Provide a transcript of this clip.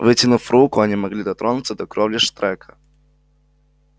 вытянув руку они могли дотронуться до кровли штрека